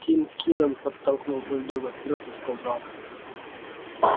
тим кинен подтолкнул бульдога вперёд и сказал